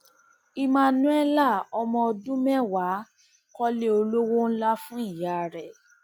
emmanuella ọmọ ọdún mẹwàá kọlé olówó ńlá fún ìyá rẹ